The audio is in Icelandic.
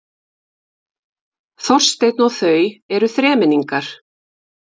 Þorsteinn og þau eru þremenningar.